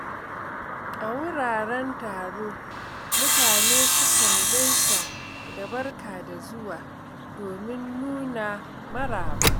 A wuraren taro, mutane sukan gaisa da “Barka da zuwa” domin nuna maraba.